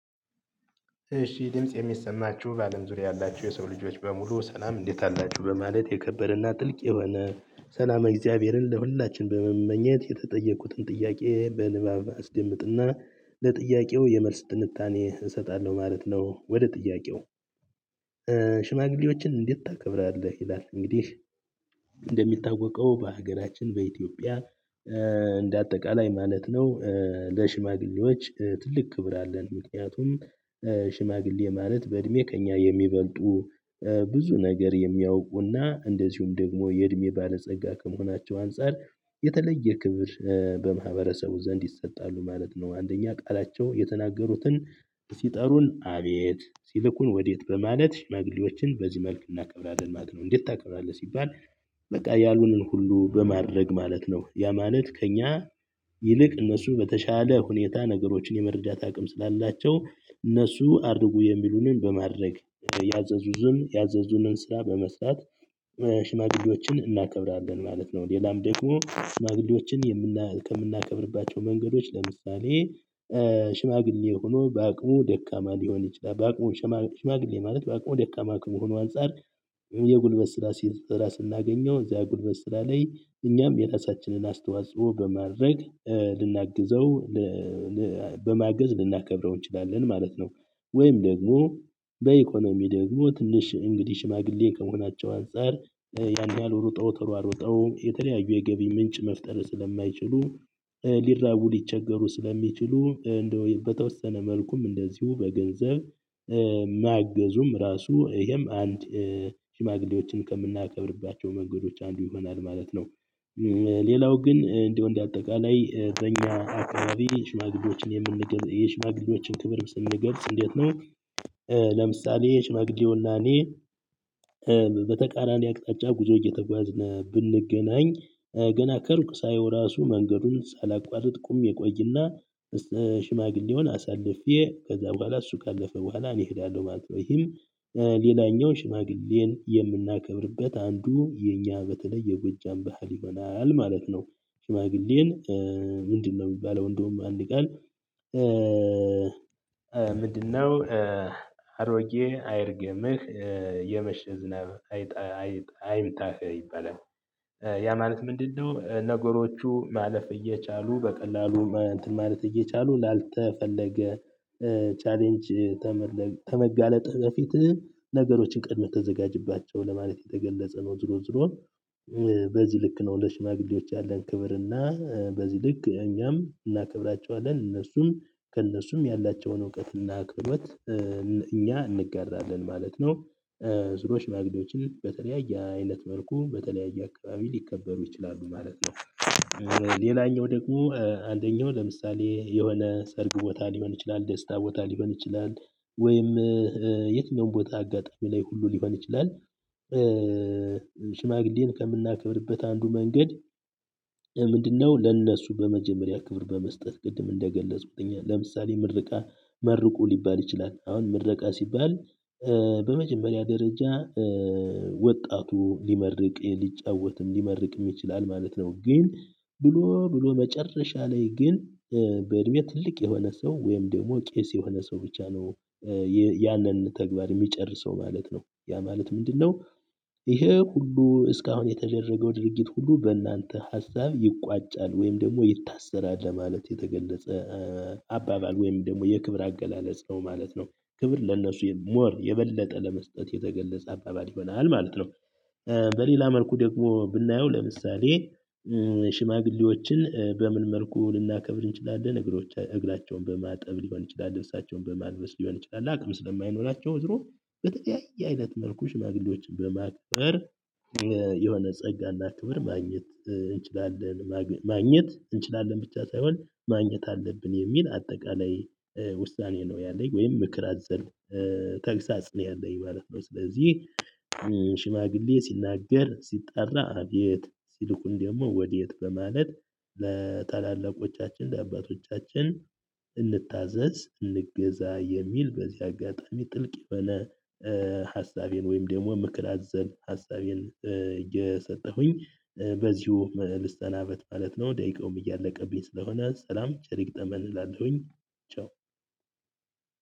እሺ ድምጽ የሚሰማችሁ ባለም ዙሪያ ያላችሁ የሰው ልጆች በሙሉ ሰላም እንዴት አላችሁ በማለት የከበረና ጥልቅ የሆነ ሰላመ እግዚአብሔርን ለሁላችንም በመመኘት የተጠየቁትን ጥያቄ በንባብ አስደምጥና ለጥያቄው የመልስ ትንታኔ እሰጣለሁ ማለት ነው። ወደ ጥያቄው? ሽማግሌዎችን እንዴት ታከብራለህ ይላል? እንግዲህ እንደሚታወቀው በሀገራችን በኢትዮጵያ እንደ አጠቃላይ ማለት ነው። ለሽማግሌዎች ትልቅ ክብር አለን። ምክንያቱም ሽማግሌ ማለት በእድሜ ከእኛ የሚበልጡ ብዙ ነገር የሚያውቁና እንደዚሁም ደግሞ የእድሜ ባለጸጋ ከመሆናቸው አንፃር የተለየ ክብር በማህበረሰቡ ዘንድ ይሰጣሉ ማለት ነው። አንደኛ ቃላቸው የተናገሩትን ሲጠሩን አቤት ሲልኩን ወዴት በማለት ሽማግሌዎችን በዚህ መልክ እናከብራለን ማለት ነው። እንዴት ታከብራለህ ሲባል? በቃ ያሉንን ሁሉ በማድረግ ማለት ነው። ያ ማለት ከእኛ ይልቅ እነሱ በተሻለ ሁኔታ ነገሮችን የመረዳት አቅም ስላላቸው እነሱ አድርጉ የሚሉንን በማድረግ ያዘዙን ያዘዙንን ስራ በመስራት ሽማግሌዎችን እናከብራለን ማለት ነው። ሌላም ደግሞ ሽማግሌዎችን ከምናከብርባቸው መንገዶች ለምሳሌ። ሽማግሌ ሆኖ በአቅሙ ደካማ ሊሆን ይችላል። በአቅሙ ሽማግሌ ማለት በአቅሙ ደካማ ከመሆኑ አንፃር የጉልበት ሲስራ ስናገኘው እዚያ የጉልበት ስራ ላይ እኛም የራሳችንን አስተዋጽኦ በማድረግ ልናግዘው በማገዝ ልናከብረው እንችላለን ማለት ነው። ወይም ደግሞ በኢኮኖሚ ደግሞ ትንሽ እንግዲህ ሽማግሌ ከመሆናቸው አንፃር ያን ያህል ሩጠው ተራሩወጠው የተለያዩ የገቢ ምንጭ መፍጠር ስለማይችሉ ሊራቡ ሊቸገሩ ስለሚችሉ እንደው በተወሰነ መልኩም እንደዚሁ በገንዘብ ማገዙም ራሱ እሄም አንድ ሽማግሌዎችን ከምናከብርባቸው መንገዶች አንዱ ይሆናል ማለት ነው። ሌላው ግን እንዲህ እንደ አጠቃላይ በኛ አከባቢ ሽማግሌዎችን የምንገልጽ የሽማግሌዎችን ክብር ስንገልጽ እንዴት ነው? ለምሳሌ የሽመግሌውና እኔ በተቃራኒ አቅጣጫ ጉዞ እየተጓዝን ብንገናኝ ገና ከሩቅ ሳየው ራሱ መንገዱን ሳላቋርጥ ቁም እቆይና። ሽማግሌውን አሳልፌ ከዛ በኋላ እሱ ካለፈ በኋላ እኔ እሄዳለሁ ማለት ነው። ይህም ሌላኛው ሽማግሌን የምናከብርበት አንዱ የኛ በተለይ የጎጃም ባህል ይሆናል ማለት ነው። ሽማግሌን? ምንድነው ሚባለው እንዳውም አንድ ቃል። ምንድነው? አሮጌ አይርግምህ የመሽ ዝናብ አይጣ አይምታህ ይባላል። ያ ማለት ምንድነው? ነገሮቹ ማለፍ እየቻሉ በቀላሉ እንትን ማለት እየቻሉ ላልተፈለገ ቻሌንጅ ተመጋለጥህ በፊትህ ነገሮችን ቀድመህ ተዘጋጅባቸው ለማለት የተገለጸ ነው። ዙሮ ዙሮ በዚህ ልክ ነው። ለሽማግሌዎች ያለን ክብርና በዚህ ልክ እኛም እናከብራቸዋለን እነሱም ከእነሱ ያላቸውን እውቀት እና ክህሎት እኛ እንጋራለን ማለት ነው። ዙሮ ሽማግሌዎችን በተለያየ አይነት መልኩ በተለያየ አከባቢ ሊከበሩ ይችላሉ ማለት ነው። ሌላኛው ደግሞ አንደኛው ለምሳሌ የሆነ ሰርግ ቦታ ሊሆን ይችላል ደስታ ቦታ ሊሆን ይችላል። ወይም የትኛውም ቦታ አጋጣሚ ላይ ሁሉ ሊሆን ይችላል። ሽማግሌን ከምናከብርበት አንዱ መንገድ። ምንድነው? ለእነሱ በመጀመሪያ ክብር በመስጠት ቅድም እንደገለጽኩት ለምሳሌ ምርቃ መርቁ ሊባል ይችላል አሁን ምረቃ ሲባል በመጀመሪያ ደረጃ ወጣቱ ሊመርቅ ሊጫወትም ሊመርቅም ይችላል ማለት ነው። ግን ብሎ ብሎ መጨረሻ ላይ ግን በእድሜ ትልቅ የሆነ ሰው ወይም ደግሞ ቄስ የሆነ ሰው ብቻ ነው። ያነን ተግባር እሚጨርሰው ማለት ነው። ያ ማለት ምንድነው? እሄ ሁሉ እስካሁን የተደረገው ድርጊት ሁሉ በእናንተ ሀሳብ ይቋጫል ወይም ደግሞ ይታሰራል ለማለት የተገለጸ አባባል ወይም ደግሞ የክብር አገላለጽ ነው ማለት ነው። ክብር ለነሱ ሞር የበለጠ ለመስጠት የተገለጸ አባባል ይበላል ማለት ነው። በሌላ መልኩ ደግሞ ብናየው ለምሳሌ። ሽማግሌዎችን በምን መልኩ ልናከብር እንችላለን እግራቸውን በማጠብ ሊሆን ይችላል። ልብሳቸውን በማልበስ ሊሆን ይችላል አቅም ስለማይኖራቸው ዝሮ በተለያየ አይነት መልኩ ሽማግሌዎችን በማክበር የሆነ ጸጋና ክብር። ማግኘት እንችላለን ብቻ ሳይሆን ማግኘት አለብን የሚል አጠቃላይ ውሳኔ ነው ያለኝ ወይም ምክር አዘል ተግሳጽ ነው ያለኝ ማለት ነው። ስለዚህ ሽማግሌ ሲናገር ሲጣራ አቤት ሲልኩን ደግሞ ወዴት በማለት ለታላለቆቻችን ለአባቶቻችን እንታዘዝ እንገዛ የሚል በዚህ አጋጣሚ ጥልቅ የሆነ። ሀሳቤን ወይም ደሞ ምክር አዘል ሀሳቤን እየሰጠሁኝ በዚሁ ልስናበት ማለት ነው። ደቂቃውም እያለቀብኝ ስለሆነ ሰላም ቸሪ ይግጠመን እላለሁኝ። ቻው።